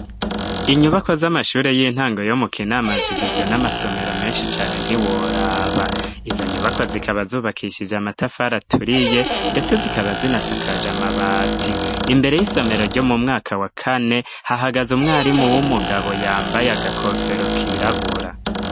Inyubakwa z'amashuri y'intango yo mu kinama zigizwe n'amasomero menshi cyane ntiworaba izo nyubakwa zikaba zubakishije amatafar aturiye ndetse zikaba zinasakaja mabati imbere y'isomero ryo mu mwaka wa kane hahagaze umwarimu w'umugabo yambaye agakofero kirabura.